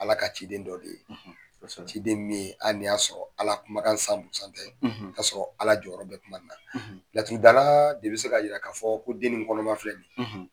Ala ka ciden dɔ de. Kosɛbɛ. Ciden min hali nin y'a sɔrɔ Ala kumakan tɛ. Ka sɔrɔ Ala jɔyɔrɔ bɛ kuma in na. Laturu dala de bɛ se ka yira k'a fɔ ko den nin kɔnɔma filɛ nin ye.